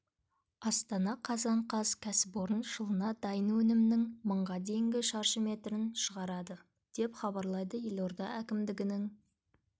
астана қазан қаз кәсіпорын жылына дайын өнімнің мыңға дейінгі шаршы метрін шығарады деп хабарлайды елорда әкімдігінің